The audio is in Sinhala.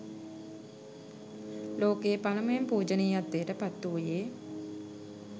ලෝකයේ පළමුවෙන් පූජනීයත්වයට පත් වූයේ